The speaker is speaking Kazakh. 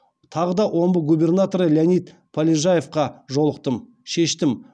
тағы да омбы губернаторы леонид полежаевқа жолықтым шештім